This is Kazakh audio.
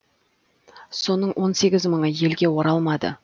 соның он сегіз мыңы елге оралмады